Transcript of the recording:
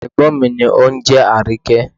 Ègbón mí ni ónjẹ́ Àríkẹ́